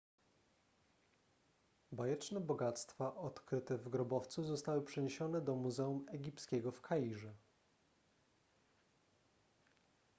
bajeczne bogactwa odkryte w grobowcu zostały przeniesione do muzeum egipskiego w kairze